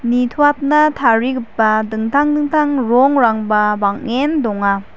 nitoatna tarigipa dingtang dingtang rongrangba bang·en donga.